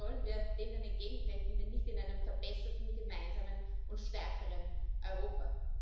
Wie sollen wir denen entgegentreten, wenn nicht in einem verbesserten, gemeinsamen und stärkeren Europa?